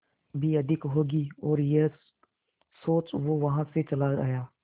भी अधिक होगी और यह सोच वो वहां से चला आया